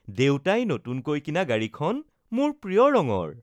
দেউতাই নতুনকৈ কিনা গাড়ীখন মোৰ প্ৰিয় ৰঙৰ